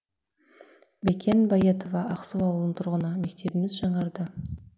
бикен байетова ақсу ауылының тұрғыны мектебіміз жаңарды